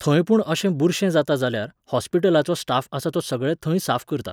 थंय पूण अशें बुरशें जाता जाल्यार, हॉस्पिटलाचो स्टाफ आसा तो सगळें थंय साफ करता.